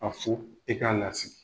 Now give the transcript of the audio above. A fo, i k'a lasigi.